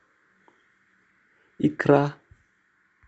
икра